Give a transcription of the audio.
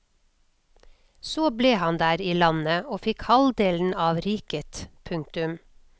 Så ble han der i landet og fikk halvdelen av riket. punktum